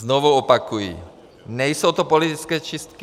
Znovu opakuji, nejsou to politické čistky.